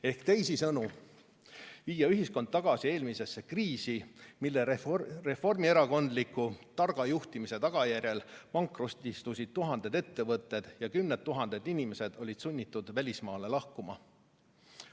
Ehk teisisõnu, viia ühiskond tagasi eelmisesse kriisi, mille reformierakondliku targa juhtimise tagajärjel pankrotistusid tuhanded ettevõtted ja kümned tuhanded inimesed olid sunnitud välismaale lahkuma.